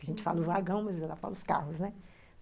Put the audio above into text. A gente fala o vagão, mas ela fala os carros, né?